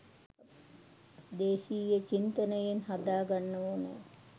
දේශීය චින්තනයෙන් හදා ගන්න ඕනෑ.